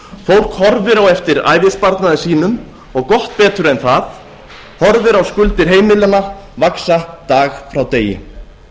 fólk horfir á eftir ævisparnaði sínum og gott betur en það horfir á skuldir heimilanna vaxa dag frá degi